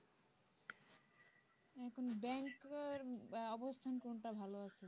এখন ব্যাংকের অবস্থান কোন টা ভাল আছে?